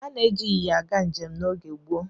Ana-eji ịnyịnya aga njem n'oge gboo.